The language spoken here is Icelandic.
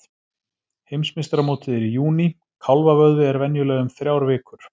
Heimsmeistaramótið er í júní, kálfavöðvi er venjulega um þrjár vikur.